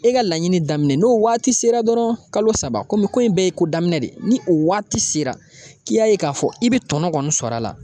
E ka laɲini daminɛ n'o waati sera dɔrɔn kalo saba kɔmi ko in bɛɛ ye ko daminɛ de ni o waati sera k'i y'a ye k'a fɔ i bɛ tɔnɔ kɔni sɔrɔ a la